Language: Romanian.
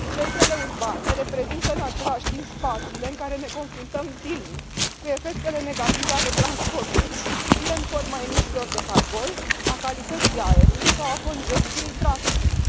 Centrele urbane reprezintă în același timp spațiile în care ne confruntăm zilnic cu efectele negative ale transportului, fie în forma emisiilor de carbon sau a calității aerului, fie a congestiei traficului.